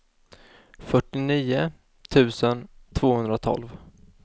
fyrtionio tusen tvåhundratolv